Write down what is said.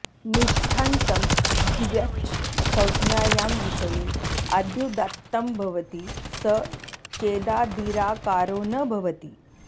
निष्ठान्तं द्व्यच् संज्ञायां विषये आद्युदात्तं भवति स चेदादिराकारो न भवति